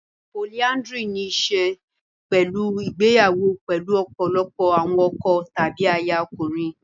Polyandry ní í ṣe pẹ̀lú ìgbéyàwó pẹ̀lú ọ̀pọ̀lọpọ̀ àwọn ọkọ tàbí aya ọkùnrin.